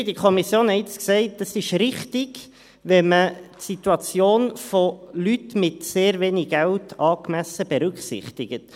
Wir haben in der Kommission gesagt, es sei richtig, wenn man die Situation von Leuten mit sehr wenig Geld angemessen berücksichtigt.